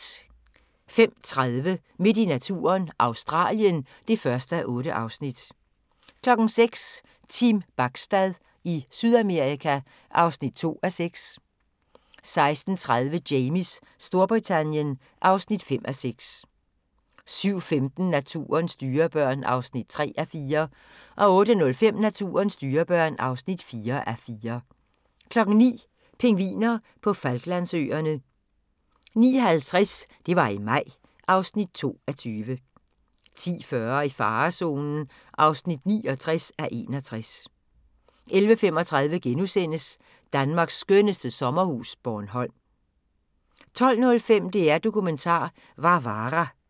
05:30: Midt i naturen – Australien (1:8) 06:00: Team Bachstad i Sydamerika (2:6) 06:30: Jamies Storbritannien (5:6) 07:15: Naturens dyrebørn (3:4) 08:05: Naturens dyrebørn (4:4) 09:00: Pingviner på Falklandsøerne 09:50: Det var i maj (2:20) 10:40: I farezonen (29:61) 11:35: Danmarks skønneste sommerhus – Bornholm * 12:05: DR Dokumentar - Varvara